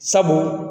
Sabu